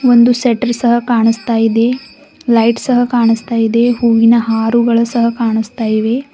ಒಂದು ಸೆಟ್ಟರ್ ಸಹ ಕಾಣಸ್ತಾ ಇದೆ ಲೈಟ್ಸ್ ಸಹ ಕಾಣಸ್ತಾ ಇದೆ ಹೂವಿನ ಹಾರೂ ಸಹ ಕಾಣುಸ್ತಾ ಇವೆ.